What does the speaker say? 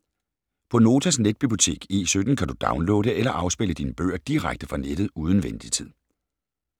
På Notas netbibliotek E17 kan du downloade eller afspille dine bøger direkte fra nettet uden ventetid.